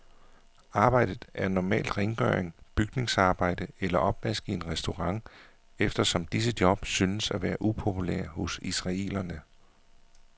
Arbejdet er normalt rengøring, bygningsarbejde eller opvask i en restaurant, eftersom disse job synes at være upopulære hos israelerne.